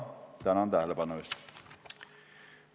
Tänan tähelepanu eest!